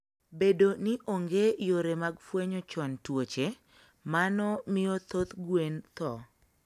Bedo ni onge yore mag fwenyo chon tuoche, mano miyo thoth gwen tho.